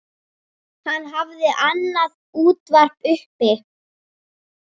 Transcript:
Hann hafði annað útvarp uppi.